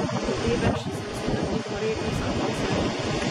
Revež, sem si na tiho rekel sam pri sebi...